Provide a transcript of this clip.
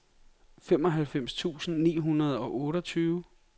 femoghalvfems tusind ni hundrede og otteogtyve